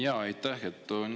Aitäh!